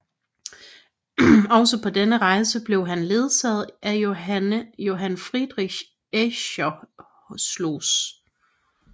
Også på denne rejse blev han ledsaget af Johann Friedrich Eschscholtz